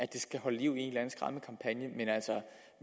det skal holde liv i en